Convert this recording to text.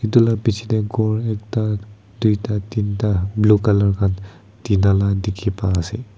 etu la biche tae ghor ekta duita teenta blue color kan tina la dikhi pai ase.